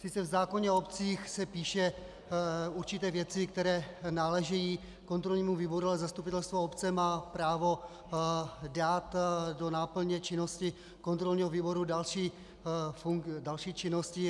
Sice v zákoně o obcích se píše, určité věci, které náležejí kontrolnímu výboru, ale zastupitelstvo obce má právo dát do náplně činnosti kontrolního výboru další činnosti.